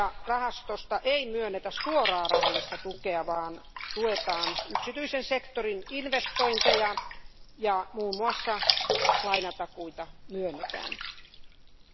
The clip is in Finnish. Rahastosta ei myönnetä suoraa rahallista tukea, vaan tuetaan yksityisen sektorin investointeja ja muun muassa myönnetään lainatakuita.